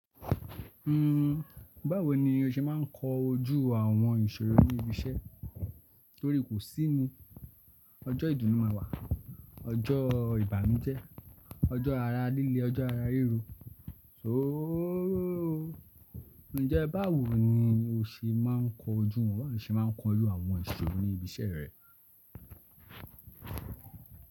Uhm, báwo ni o ṣe máa ń kọ ojú àwọn ìṣòro ní ibi iṣẹ́? Torí kò sí ni, ọjọ́ ìdùnnú máa wà, ọjọ́ ìbànújẹ́, ọjọ́ ara líle, ọjọ́ ara ríro. Sooo, njẹ́ báwo ni o ṣe máa ń kọ ojú, báwo ni o ṣe máa ń kọ ojú àwọn ìṣòro ní ibi iṣẹ́ rẹ?